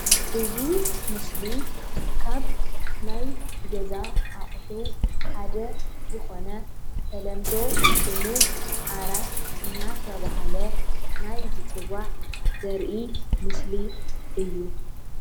እዚ ምስሊ ካብ ናይ ገዛ አቑሑ ሓደ ዝኾነ ብተለምዶ ስሙ ዓራት እናተባሃለ ናይ ዝፅዋዕ ዘርኢ ምስሊ እዩ ።